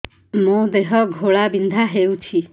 ମୋ ଦେହ ଘୋଳାବିନ୍ଧା ହେଉଛି